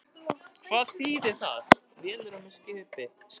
Er þetta kannski vélarrúm í skipi?